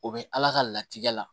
O bɛ ala ka latigɛ la